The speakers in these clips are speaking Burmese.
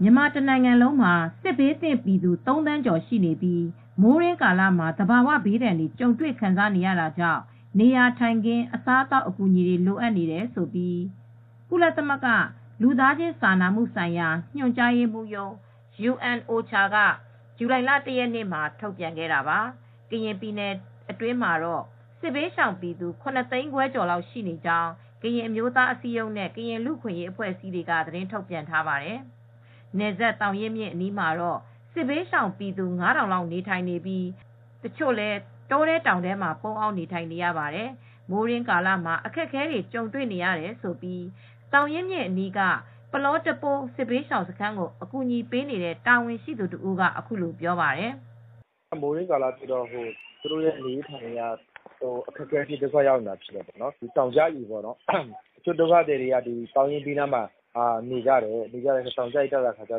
မြန်မာတနိုင်ငံလုံးမှာ စစ်ဘေးသင့်ပြည်သူ ၃သန်းကျော်ရှိနေပြီး မိုးတွင်းကာလမှာ သဘာ၀ဘေးဒဏ်တွေ ကြုံတွေခံစားနေရပြီး နေရာထိုင်ခင်းအစားအသောက်အကူညီတွေ လိုအပ်နေတယ်လို့ ကုလသမဂ္ဂလူသားချင်းစာနာမှုဆိုင်ရာညှိနှိုင်းရေးရုံး က ဇူလိုင်လ ၁ရက်နေ့က ထုတ်ပြန်ခဲ့တာပါ။ ကရင်ပြည်နယ်အတွင်းမှာတော့ စစ်ဘေးရှောင်ပြည်သူ ၇သိန်းခွဲလောက်ရှိနေကြောင်း ကရင်အမျိုးသားအစည်းအရုံး KNU နဲ့ ကရင်လူအခွင့်ရေးအဖွဲ့တွေက သတင်းထုတ်ပြန်ထားပါတယ် ။ နယ်စပ်သောင်ရင်းမြစ်အနီးမှာတော့ စစ်ဘေးရှောင်ပြည်သူ ၅ ထောင်လောက်နေထိုင်နေပြီး တချို့လည်း တောထဲတောင်ထဲမှာပုန်းအောင်းနေထိုင်နေရပါတယ်။ မိုးတွင်းကာလမှာ အခက်အခဲတွေကြုံတွေနေရတဲ့ အခက်အခဲတွေကို သောင်ရင်းမြစ်အနီးက ပလော့တပိုးစစ်ဘေးရှောင်စခန်းကိုအကူညီပေးတဲ့ တာဝန်ရှိသူတဦးက ဗွီအိုအေကို အခုလိုပြောပါတယ်။ "မိုးတွင်းကာလဖြစ်တော့ သူတို့ရဲ့နေထိုင်ရေး အခက်အခဲဖြစ်နေတယ် တောင်ကျရေတွေ ကျတာ တချို့က ဒုက္ခသည်တွေက သောင်ရင်းမြစ်အနီးမှာနေရတော့ ကမ်းပါပြိုရင် အိမ်တွေပါ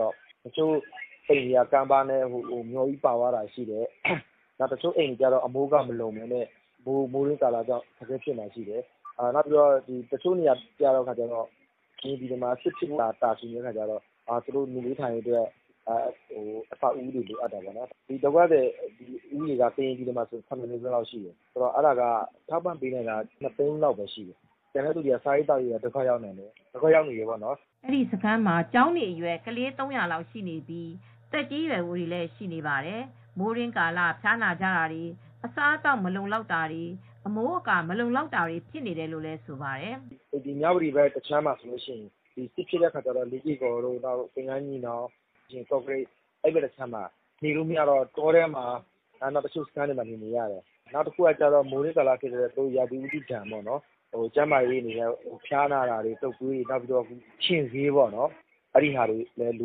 သွားတာရှိတယ် တချို့အိမ်တွေကျတော့အမိုးအကာမလုံပဲ မိုးတွင်းကာလကြောင့်ဒုက္ခရောက်တာရှိတယ် ၊ တချို့နေရာတွေက စစ်ဖြစ်ဖို့ပဲတာဆူနေတော့ နေရေးထိုင်ရေးအဆောက်အဦးအမိုးအကာတွေလိုတယ် ကရင်တပြည်လုံးမှာစစ်ဘေးရှောင်နေရတဲ့သူ က ၇သိန်းခွဲလောက်ရှိတယ်၊ အဲဒီထဲမှာ ထောက်ပံ့မှုပေးနိုင်တာက လူဦးရေ ၂ သိန်းလောက်ပဲရှိတယ် ကျန်တဲ့သူတွေကစားရေးသောက်ရေး ဒုက္ခရောက်နေရတာပေါ့နော်။" အဲဒီစခန်းမှာ ကျောင်းနေအရွယ် ကလေး ၃၀၀လောက်ရှိနေပြီး သက်ကြီးရွယ်အိုတွေလည်းရှိနေပါတယ် ။ မိုးတွင်းကာလဖျားနာကြတာ တွေ အစားအသောက်မလုံလောက်တာ အမိုးအကာမလုံလောက်တာတွေလည်းဖြစ်ပေါ်နေတယ်လို့ဆိုပါတယ်။ "မြ၀တီဘက်ခြမ်းမှာ စစ်ဖြစ်တဲ့အခါမှာ မြ၀တီတို့သင်္ကန်းညီနောင်တို့ လေးကေ့ကော်တို့ ကော့ကရိတ်ဘက်လူတွေကတော့စစ်ဘေးရှောင်နေရတော့ တောထဲမှာနေရတာ စစ်ရှောင်စခန်းမှာနေရတာတွေ ရှိတယ် မိုးတွင်းကာလ ရာသီဥတုကြောင့်ဖျားနာပြီးဆေးဝါးလိုအပ်တာ တုတ်ကွေးတွေ ငှက်ဖျားတွေအတွ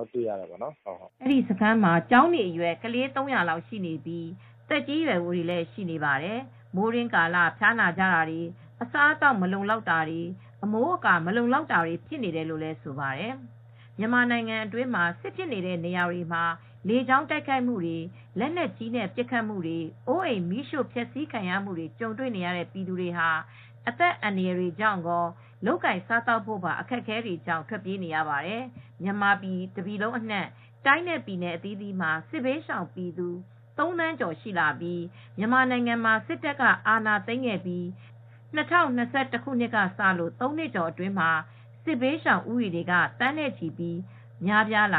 က်ခြင်ဆေးလိုအပ်တာတွေလည်းရှိတယ်။" မြန်မာနိုင်ငံအတွင်း စစ်ဖြစ်နေတဲ့နေရာတွေမှာ လေကြောင်းတိုက်ခိုက်တာတွေ၊ လက်နက်ကြီးနဲ့ပစ်ခတ်မှုတွေ၊ အိုးအိမ်မီးရှိ့ဖျက်ဆီးခံရမှုတွေ ကြုံနေရတဲ့ပြည်သူတွေဟာ အသက်အန္တရယ် ရင်ဆိုင်နေကြရပြီး လုပ်ကိုင်စားသောက်ဖို့အခက်အခဲတွေကြောင့် နေရပ်စွန့်ခွာ ထွက်ပြေးနေကြရပါတယ် ။ မြန်မာတပြည်လုံးအနှံ့ တိုင်းနဲ့ပြည်နယ်အသီးသီးမှာ စစ်ဘေးရှောင်ပြည်သူ ၃ သန်းကျော်ရှိနေပြီး စစ်တပ်က၂၀၂၁ခုနှစ် ဖေဖေါ်ဝါရီလမှာ အာဏာသိမ်းချိန်ကစလို့ ၃နှစ်ကျော်အတွင်း စစ်ဘေးရှောင်ဦးရေ သန်းနဲ့ချီပြီး တိုးပွားလာ